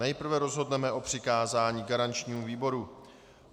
Nejprve rozhodneme o přikázání garančnímu výboru.